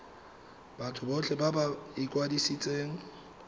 batho botlhe ba ba ikwadisitseng